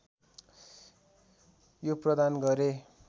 यो प्रदान गरे